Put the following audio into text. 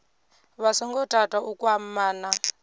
vha songo tata u kwamana